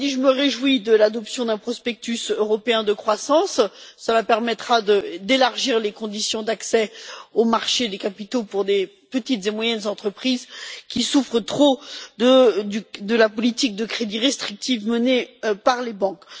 Cela dit, je me réjouis de l'adoption d'un prospectus européen de croissance, qui permettra d'élargir les conditions d'accès aux marchés des capitaux pour des petites et moyennes entreprises qui souffrent trop de la politique de crédit restrictive menée par les banques.